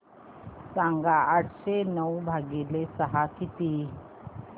सांगा आठशे नऊ भागीले सहा किती